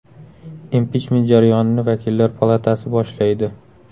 Impichment jarayonini vakillar palatasi boshlaydi.